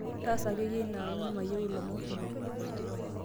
taasa ake iyie inaa amuu mayieu ilomon kumok